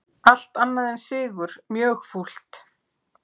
Allt annað en sigur mjög fúlt